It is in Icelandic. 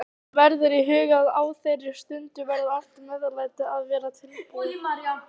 Hafa verður í huga að á þeirri stundu verður allt meðlæti að vera tilbúið.